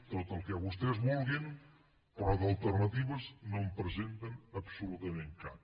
tot el que vostès vulguin però d’alternatives no en presenten absolutament cap